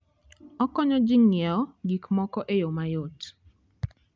Okonyo ji ng'iewo gik moko e yo mayot.